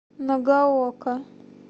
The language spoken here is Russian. нагаока